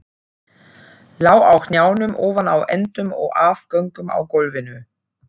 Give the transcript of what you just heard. Lá á hnjánum ofan á endum og afgöngum á gólfinu.